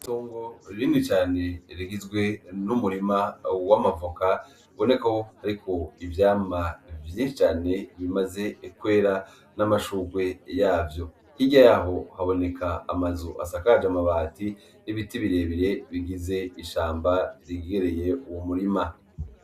Itongo rinini cane rigizwe n'umurima w'amavoka ubona ko hariko ivyamwa vyinshi cane bimaze kwera n'amashurwe yavyo. Hirya yaho haboneka amazu asakaje amabati n'ibiti bire bire bigize ishamba ryegereye uwo murima.